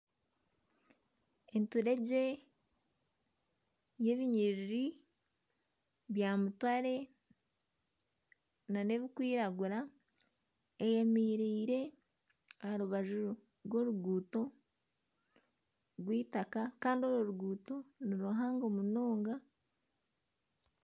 Enturegye y'ebinyiriri bya mutare n'ebirikwiragura eyemereire aha rubaju rw'oruguuto rw'eitaka kandi orwo ruguuto ni ruhango munonga.